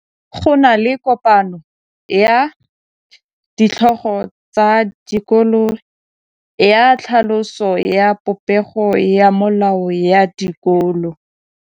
Go na le kopanô ya ditlhogo tsa dikolo ya tlhaloso ya popêgô ya melao ya dikolo.